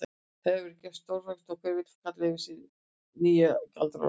Það getur verið stórháskalegt og hver vill kalla yfir sig nýjan Galdra-Loft.